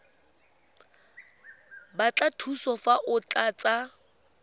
batla thuso fa o tlatsa